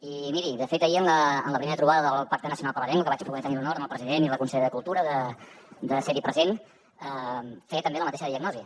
i miri de fet ahir en la primera trobada del pacte nacional per la llengua que vaig poder tenir l’honor amb el president i la consellera de cultura de ser hi present feia també la mateixa diagnosi